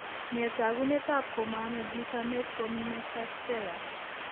Nee taakunetaab komaame glutamate formiminotrasferase?